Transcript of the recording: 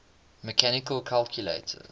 mechanical calculators